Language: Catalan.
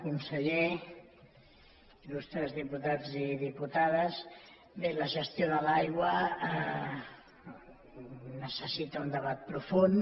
conseller illustres diputats i diputades bé la gestió de l’aigua necessita un debat profund